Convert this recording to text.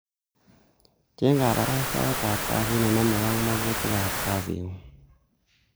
cheng kabarastaetab kazit nenomege ak magutikab kazingung.